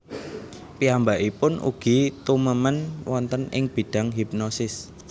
Piyambakipun ugi tumemen wonten ing bidang hipnosis